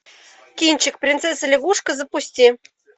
кинчик принцесса лягушка запусти